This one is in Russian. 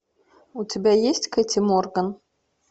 у тебя есть кэти морган